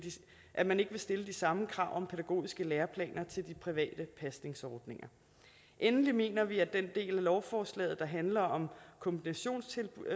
at man ikke vil stille de samme krav om pædagogiske læreplaner til de private pasningsordninger endelig mener vi at den del af lovforslaget der handler om kombinationstilbud